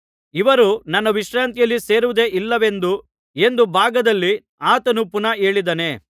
ಇವರು ನನ್ನ ವಿಶ್ರಾಂತಿಯಲ್ಲಿ ಸೇರುವುದೇ ಇಲ್ಲವೆಂದು ಎಂದು ಭಾಗದಲ್ಲಿ ಆತನು ಪುನಃ ಹೇಳಿದ್ದಾನೆ